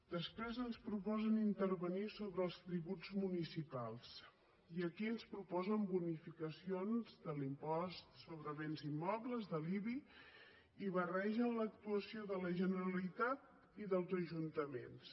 després ens proposen intervenir sobre els tributs municipals i aquí ens proposen bonificacions de l’impost sobre béns immobles de l’ibi i barregen l’actuació de la generalitat i dels ajuntaments